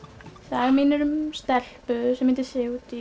saga mín er um stelpu sem heitir Sigurdís